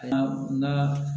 Na